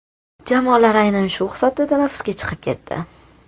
Jamoalar aynan shu hisobda tanaffusga chiqib ketdi.